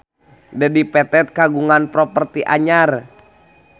Dedi Petet kagungan properti anyar